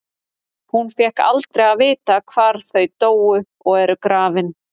Hún fékk aldrei að vita hvar þau dóu og eru grafin.